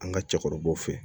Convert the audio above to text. An ka cɛkɔrɔbaw fɛ